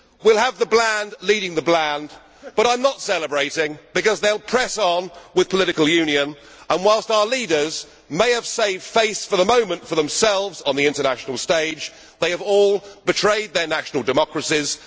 We will have the bland leading the bland, but I am not celebrating because they will press on with political union and, whilst our leaders may have saved face for the moment for themselves on the international stage, they have all betrayed their national democracies.